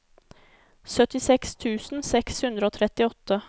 syttiseks tusen seks hundre og trettiåtte